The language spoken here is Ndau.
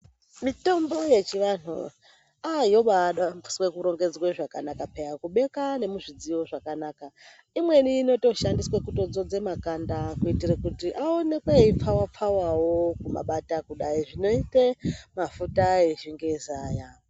Mitombo yechivantu ayobarongedzwa zvakanaka piyani kubeka nemuzvidziyo zvakanaka imweni inoshandiswa kudzodza makanda kuitira kuti aone kupfawa pfawa kumabata kudai zvinoita mafuta echingezi aya.